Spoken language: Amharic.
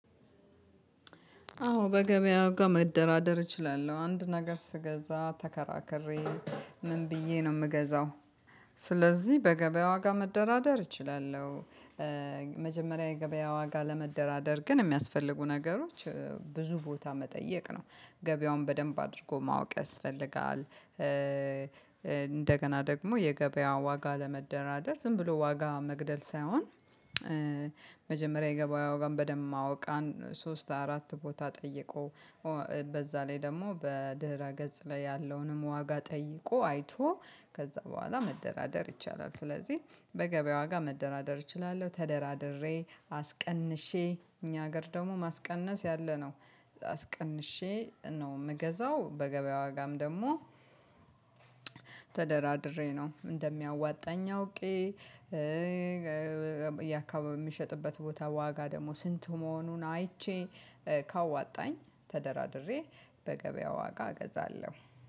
አዎ በገበያው ጋር መደራደር እችላለሁ። አንድ ነገር ስገዛ ተከራከሬ ምን ብዬ ነው የምገዛው። ስለዚህ በገበያ ዋጋ መደራደር እችላለሁ። መጀመሪያ የገበያ ዋጋ ለመደራደር ግን የሚያስፈልጉ ነገሮች ብዙ ቦታ መጠየቅ ነው ገበያውን በደንብ አድርጎ ማወቅ ያስፈልጋል። እንደገና ደግሞ የገበያው ዋጋ ለመደራደር ዝም ብሎ ዋጋ መግደል ሳይሆን። መጀመሪያ የገበያውን ዋጋ በደንብ ማወቅ ሶስት አራት ቦታ ጠይቆ በዛ ላይ ደግሞ በድህረ ገጽ ላይ ያለውንም ዋጋ ጠይቆ አይቶ ከዛ በኋላ መደራደር ይቻላል። ስለዚህ በገበያ ዋጋ መደራደር እችላለሁ ተደራድሬ አስቀንሼ እኛ ሀገር ደግሞ ማስቀነስ ያለነው አስቀንሼ ነው የምገዛው። በገበያ ዋጋም ደግሞ ተደራድሬ ነው እንደሚያዋጣኝ አውቄ። የአካባቢው የሚሸጥበት ቦታ ዋጋ ደግሞ ስንቱ? መሆኑን አይቼ ካዋጣኝ ተደራድሬ በገበያው ዋጋ እገዛለሁ